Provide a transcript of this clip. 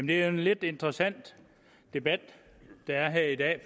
det er en lidt interessant debat der er her i dag